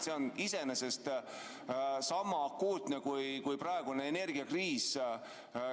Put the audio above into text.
See on iseenesest sama akuutne teema kui praegune energiakriis.